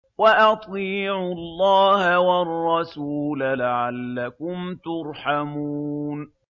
وَأَطِيعُوا اللَّهَ وَالرَّسُولَ لَعَلَّكُمْ تُرْحَمُونَ